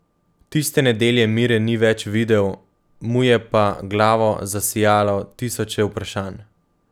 Tiste nedelje Mire ni več videl, mu je pa glavo zasajalo tisoče vprašanj.